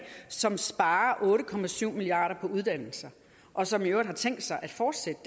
som sparer otte milliard kroner på uddannelse og som i øvrigt har tænkt sig at fortsætte